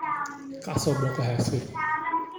Kaac sooboqo xaskeyga.